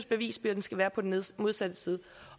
bevisbyrden skal være på den modsatte side